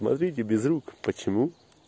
смотрите без рук почему